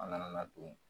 An nana don